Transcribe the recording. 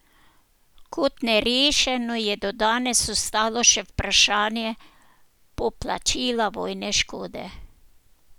Kot nerešeno je do danes ostalo še vprašanje poplačila vojne škode.